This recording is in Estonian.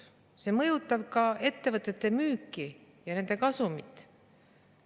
See mõjutab ka ettevõtete müüki ja nende kasumit.